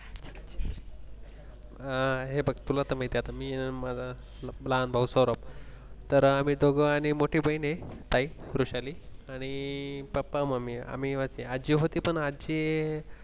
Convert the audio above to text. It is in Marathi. अह हे बघ तुला तर मी त्यात मी, माझा लहान भाऊ सौरभ तर आम्ही दोघं आणि मोठी बहीण आहे, वृषाली आणि पप्पा आजी होती पण आजी हे.